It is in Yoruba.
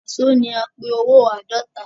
Waso ní a pé owó àádọ́ta.